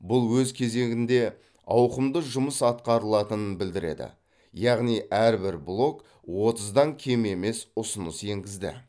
бұл өз кезегінде ауқымды жұмыс атқарылатынын білдіреді яғни әрбір блок отыздан кем емес ұсыныс енгізді